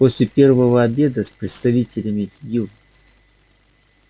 после первого обеда с представителями ю